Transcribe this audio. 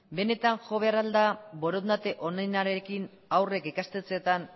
benetan jo behar da al da borondate onenarekin haurrek ikastetxeetan